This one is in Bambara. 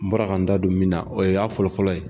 N bɔra ka n da don min na o y'a fɔlɔ-fɔlɔ ye